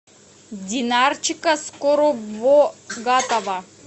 динарчика скоробогатова